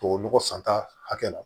Tubabu nɔgɔ santa hakɛ la